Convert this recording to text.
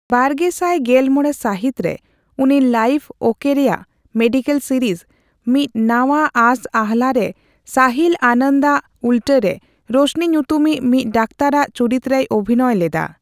ᱵᱟᱨᱜᱮᱥᱟᱭ ᱜᱮᱞᱢᱚᱲᱮ ᱥᱟᱦᱤᱛ ᱨᱮ, ᱩᱱᱤ ᱞᱟᱭᱤᱯᱷ ᱳᱠᱮ ᱨᱮᱭᱟᱜ ᱢᱮᱰᱤᱠᱮᱞ ᱥᱤᱨᱤᱡᱽ ᱢᱤᱫ ᱱᱟᱶᱟ ᱟᱸᱥᱼᱟᱦᱞᱟ ᱨᱮ ᱥᱟᱦᱤᱞ ᱟᱱᱚᱱᱫᱚ ᱟᱜ ᱩᱞᱴᱟᱹ ᱨᱮ ᱨᱳᱥᱱᱤ ᱧᱩᱛᱩᱢᱤᱡ ᱢᱤᱫ ᱰᱟᱠᱛᱟᱨᱟᱜ ᱪᱩᱨᱤᱛ ᱨᱮᱭ ᱚᱵᱷᱤᱱᱚᱭ ᱞᱮᱫᱟ ᱾